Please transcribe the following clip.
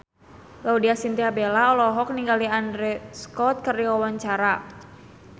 Laudya Chintya Bella olohok ningali Andrew Scott keur diwawancara